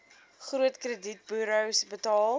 groot kredietburos betaal